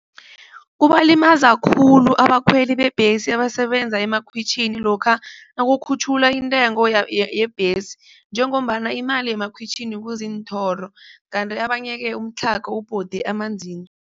Kubalimaza khulu abakhweli bebhesi abasebenza emakhwitjhini lokha nakukhutjhulwa intengo yebhesi njengombana imali yemakhwitjhini kuziinthoro, kanti abanye-ke umtlhago ubhode